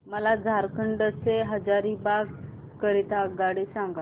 मला झारखंड से हजारीबाग करीता आगगाडी सांगा